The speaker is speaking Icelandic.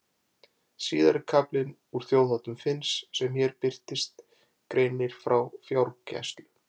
Síðari kaflinn úr Þjóðháttum Finns sem hér birtist greinir frá fjárgæslu.